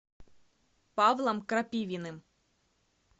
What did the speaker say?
павлом крапивиным